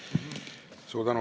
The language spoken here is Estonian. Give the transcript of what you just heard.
Suur tänu!